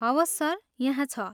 हवस सर, यहाँ छ।